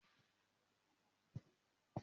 Émi yóò ka ìwe kan lóri àwọn itan arosọ Yorùbá.